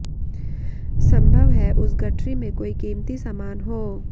संभव है उस गठरी में कोई कीमती सामान हो